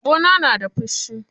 Ɓauna na da fushi.